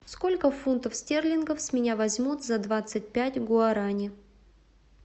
сколько фунтов стерлингов с меня возьмут за двадцать пять гуарани